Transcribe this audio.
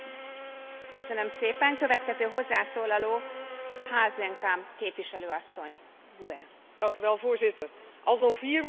Voorzitter, al zo'n 4 miljard jaar is er leven op aarde en dat leven is geen eigendom, van niemand en dat moet het ook niet worden.